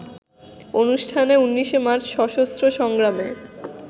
অনুষ্ঠানে ১৯ মার্চ সশস্ত্র সংগ্রামে